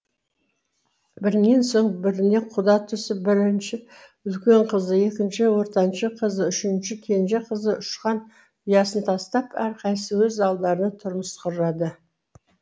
бірінен соң біріне құда түсіп бірінші үлкен қызы екінші ортаншы қызы үшінші кенже қызы ұшқан ұясын тастап әрқайсысы өз алдары тұрмыс құрады